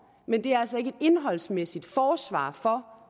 men det er altså ikke et indholdsmæssigt forsvar for